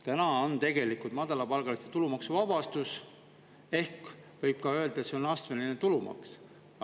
Täna on tegelikult madalapalgaliste tulumaksuvabastus ehk võib ka öelda, et see on astmeline tulumaks.